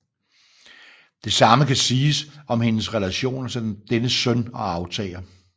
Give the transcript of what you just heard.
Det samme kan siges om hendes relationer til dennes søn og arvtager